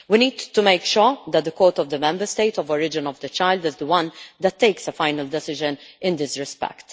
We need to make sure that the court of the Member State of origin of the child is the one that takes the final decision in this respect.